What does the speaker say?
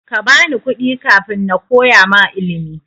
Kabani kuɗi kafin nakoya ma ilimi.